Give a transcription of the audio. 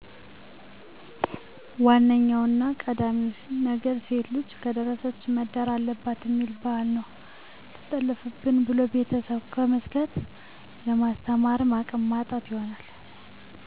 ዋነኛውና ቀዳሚው ነገር ሴትልጅ ከደረሰች መዳር አለባትእሚል ቢህል ነው ሰትጠለፋብን ብሎ ቤተስብ ከመስጋት ለማስተማርም አቅም ማጣት ይሆናል